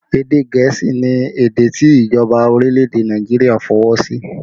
Èdè gẹ̀ẹ́sì ni èdè tí ìjọba orílẹ̀ èdè Nàìjíríà fi ọwọ́ sí